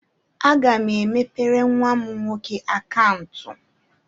Aga m emepere nwa m nwoke akaụntụ.